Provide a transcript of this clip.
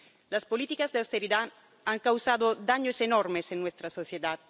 Las políticas de austeridad han causado daños enormes en nuestra sociedad.